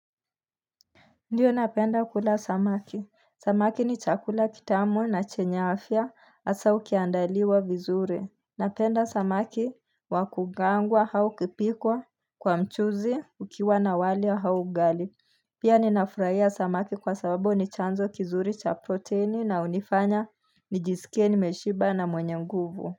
Ndiyo napenda kula samaki. Samaki ni chakula kitamu na chenyafia asa ukiandaliwa vizuri. Napenda samaki wakukaangwa haukipikwa kwa mchuzi ukiwa na wali wa haugali. Pia ninafraiya samaki kwa sababu ni chanzo kizuri cha proteini na unifanya nijisikie nimeshiba na mwenye nguvu.